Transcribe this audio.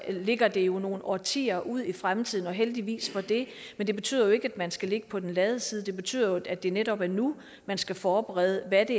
ligger det jo nogle årtier ud i fremtiden og heldigvis for det men det betyder jo ikke at man skal ligge på den lade side det betyder jo at det netop er nu man skal forberede hvad